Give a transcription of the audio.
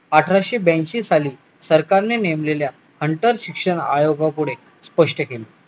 अठराशे ब्याऐंशी साली सरकारने नेमलेल्या अंतर शिक्षण आयोगापुढे स्पष्ट केले